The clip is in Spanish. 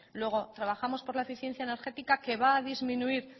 luego trabajamos por la eficiencia energética que va a disminuir